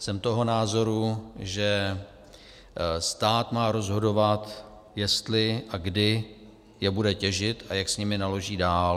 Jsem toho názoru, že stát má rozhodovat, jestli a kdy je bude těžit a jak s nimi naloží dál.